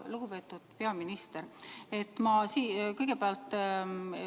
Lugupeetud peaminister!